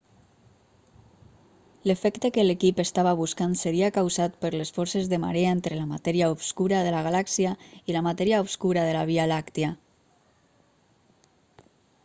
l'efecte que l'equip estava buscant seria causat per les forces de marea entre la matèria obscura de la galàxia i la matèria obscura de la via làctia